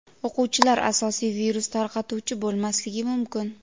o‘quvchilar asosiy virus tarqatuvchi bo‘lmasligi mumkin.